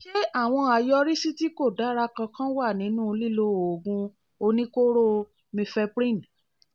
ṣé àwọn àyọrísí tí kò dára kankan wà nínú lílo oògùn oníkóró mifeprin?